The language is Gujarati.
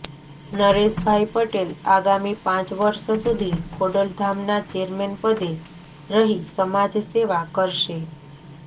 નરેશભાઈ પટેલ આગામી પાંચ વર્ષ સુધી ખોડલધામના ચેરમેન પદે રહી સમાજ સેવા કરશે